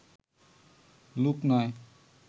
লোক নয়